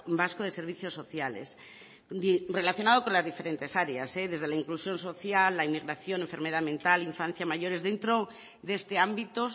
vasco de servicios sociales relacionado con las diferentes áreas desde la inclusión social la inmigración enfermedad mental infancia mayores dentro de este ámbito